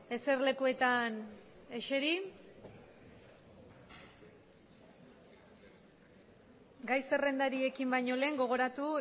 eserlekuetan eseri gai zerrendari ekin baino lehen gogoratu